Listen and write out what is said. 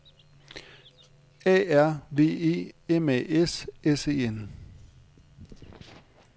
A R V E M A S S E N